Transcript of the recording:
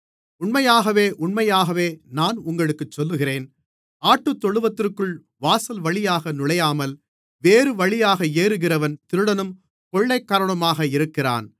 உண்மையாகவே உண்மையாகவே நான் உங்களுக்குச் சொல்லுகிறேன் ஆட்டுத்தொழுவத்திற்குள் வாசல்வழியாக நுழையாமல் வேறுவழியாக ஏறுகிறவன் திருடனும் கொள்ளைக்காரனுமாக இருக்கிறான்